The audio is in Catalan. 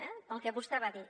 eh pel que vostè va dir